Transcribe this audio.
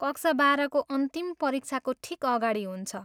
कक्षा बाह्रको अन्तिम परीक्षाको ठिक अगाडि हुन्छ।